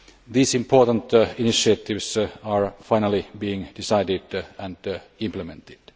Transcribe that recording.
These important initiatives are finally being decided and implemented.